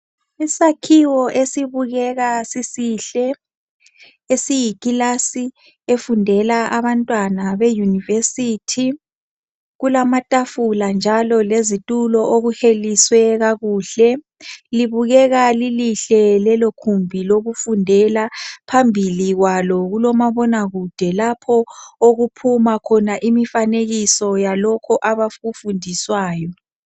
Isakhiwo esibukeka sisihle, Esiyikilasi efundeka abantwana be university. Kulamatafula njalo lezitulo, okuheliswe kakuhle. Libukeka lilihle lelokhumbi lokufundela. Phambi kwabo kumi umabonakude, Lapho okuphuma khona imifanekiso, yalokho abakufunduswayo.